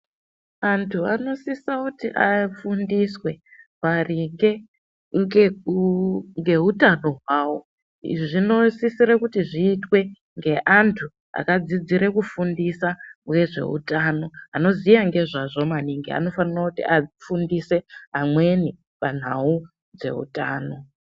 Antu anosisa kuti afundiswe maringe ngekuu-ngeutano hwavo. Izvi zvinosisire kuti zviitwe ngeantu akadzidzire kufundisa ngezveutano, anoziya ngezvazvo maningi anofanira kuti afundise amweni panhau dzeutano.